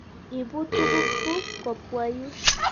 Ipu tuguk kuk kopwa yu.